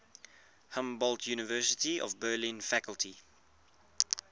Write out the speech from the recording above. humboldt university of berlin faculty